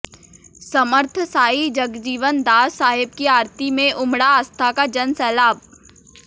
समर्थ सांई जगजीवन दास साहेब की आरती मे उमडा आस्था का जन सैलाब